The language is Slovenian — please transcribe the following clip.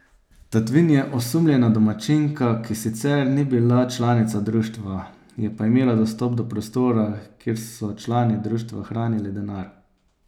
Tatvin je osumljena domačinka, ki sicer ni bila članica društva, je pa imela dostop do prostora, kjer so člani društva hranili denar.